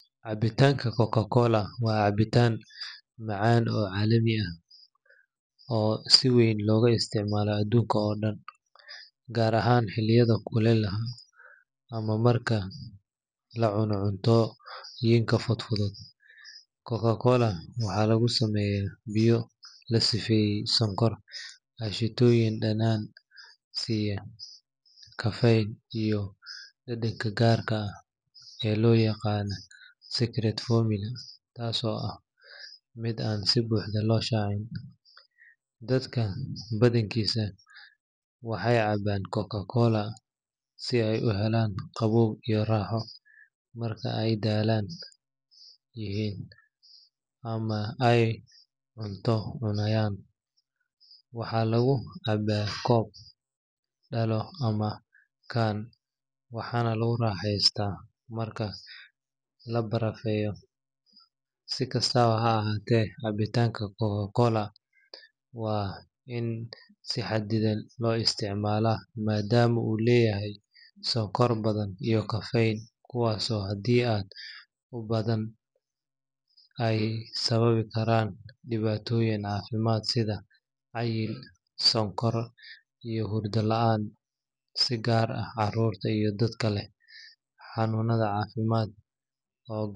Cabitantaka cococla wa cabitan macan oo calami aah, oo si weyn loga isticmaloh adunka oo dan kaar ahaan xeliyada kulele ah amah marka lacunoh cunto futfuthut coca-cola waxa lagu sameeyah biya lasifeye kashitoyin danan siyah kafeey iyo dadanka kaarga ah eeblo yaqan secret forming kaso aah mid aa si buxdah lo shacin, dadaka bathinkisa waxay cabaan cococla sibay u helan qabow iyo raxoo marka Aya dalan amah cunto cunayan waxalagu cambaha koob amah dalan waxalagu raxeystah marka la barafeeyoh si kastabo ha ahaatrh cabitanga coca-cola wa in si xadithan lo isticmalah madama oo leeyahay sokor bathan iyo kafeyn oo hade aad u bathan aya sababai Karan diwatoyinka cafimd sitha cayel sokor iyo hurda laan si kaar aah carurta iyo dadkaleh canunatha cafimd.